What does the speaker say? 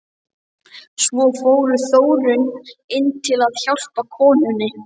Svo fór Þórunn inn til að hjálpa konunni.